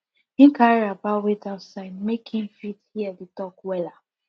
him carry wrapper wait outside make him fit hear the talk wella